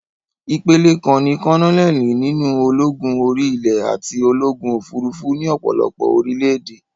Ìpele kan ní kólónẹ́lì nínú ológun orí-ilè àti ológun òfurufú ní ọ̀pọ̀lọpọ̀ orílẹ̀-èdè.